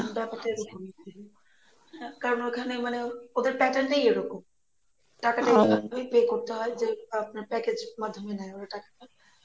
ব্যাপারটা এইরকমই কারণ ঐখানে মানে ওদের pattern টাই ঐরকম টাকাটা এইরকমই pay করতে হয় যে, আপনার package মাধ্যমে নেই ওরা টাকাটা